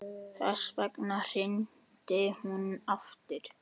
Þess vegna hringdi hún aftur.